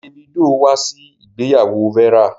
Davido wá sí ìgbéyàwó Vera.